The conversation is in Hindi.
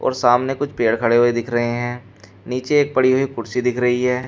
सामने कुछ पेड़ खड़े हुए दिख रहे हैं नीचे एक पड़ी हुई कुर्सी दिख रही है।